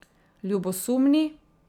Ljubosumni?